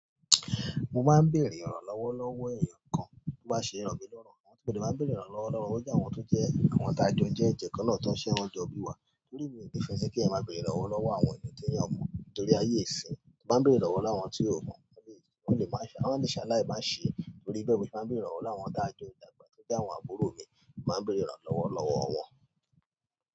Mo máa ń bèèrè ìrànlọ́wọ́ lọ́wọ́ èeyàn kan tó bá ṣe rọ̀ mi lọ́rùn ni, mọ́ dé máa ń bèèrè ìrànlọ́wọ́ lọ́wọ́ wọ́n je àwọn tó jẹ́ àwọn tá jọ jẹ́ ẹ̀jẹ́ kan náà tó ń ṣẹ́wọ̀n jọ bí wa. Torí mi ò ní fẹ́ kí ẹ̀eyan máa bèrè ìrànlọ́wọ́ lọ́wọ́ àwọn ènìyàn ti eyàn o mọ́, torí ayé ìsinyi. Mo máa ń bèrè ìrànlọ́wọ́ láwọn tí o mọ̀, wọ́n le máa ṣe aláì má ṣè torí bẹ́ẹ̀ ni mo fi máa ń bèrè ìrànlọ́wọ́ lowọ tá jọ dàgbà, bi àwọn àbúrò mi, mo máa ń bèrè ìrànlọ́wọ́ lọ́wọ́ wọn.